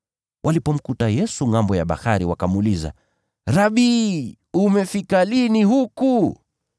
Walipomkuta Yesu ngʼambo ya bahari wakamuuliza, “Rabi, umefika lini huku?”